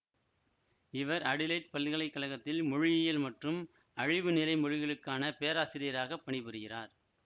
இவர் அடிலெயிட் பல்கலை கழகத்தில் மொழியியல் மற்றும் அழிவுநிலை மொழிகளுக்கான பேராசிரியாராகப் பணிபுரிகிறார்